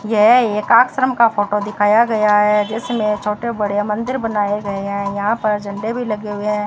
यह एक आश्रम का फोटो दिखाया गया है जिसमें छोटे बड़े मंदिर बनाए गए हैं यहां पर झंडे भी लगे हुए हैं।